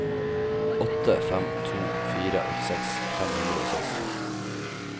åtte fem to fire åttiseks fem hundre og seksti